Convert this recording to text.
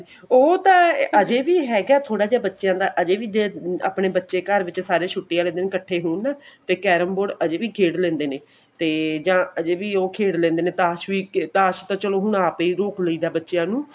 ਉਹ ਤਾਂ ਅਜੇ ਵੀ ਹੈਗਾ ਥੋੜਾ ਬੱਚਿਆਂ ਦਾ ਅਜੇ ਵੀ ਆਪਣੇ ਬੱਚੇ ਘਰ ਵਿੱਚ ਸਾਰੇ ਛੁੱਟੀ ਆਲੇ ਦਿਨ ਸਾਰੇ ਇੱਕਠੇ ਹੋਣ ਤੇ carrom board ਅਜੇ ਵੀ ਖੇਡ ਲੇਂਦੇ ਨੇ ਤੇ ਜਾ ਅਜੇ ਵੀ ਉਹ ਖੇਡ ਲੇਂਦੇ ਨੇ ਤਾਸ਼ ਵੀ ਤਾਸ਼ ਤਾਂ ਚਲੋ ਆਪ ਹੀ ਰੋਕ ਲਈਦਾ ਬੱਚੇ ਨੂੰ